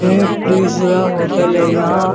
ये प्लीजरा होटल है यहाँ --